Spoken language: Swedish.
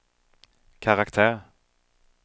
karaktär